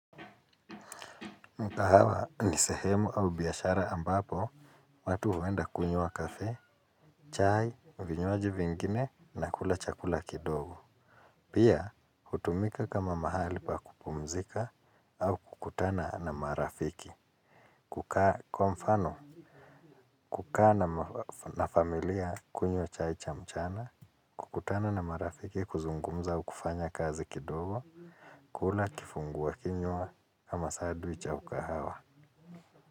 Mkahawa ni sehemu au biashara ambapo watu huenda kunywa kafe, chai, vinywaji vingine na kula chakula kidogo. Pia hutumika kama mahali pa kupumzika au kukutana na marafiki. Kwa mfano, kukaa na familia kunywa chai cha mchana, kukutana na marafiki kuzungumza au kufanya kazi kidogo, kula kifungwa kinywa ama sandwich au ukahawa.